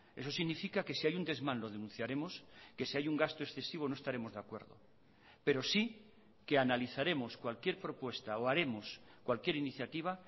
eso significa que si hay un desmán lo denunciaremos que si hay un gasto excesivo no estaremos de acuerdo pero sí que analizaremos cualquier propuesta o haremos cualquier iniciativa